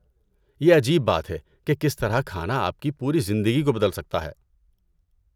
یہ عجیب بات ہے کہ کس طرح کھانا آپ کی پوری زندگی کو بدل سکتا ہے۔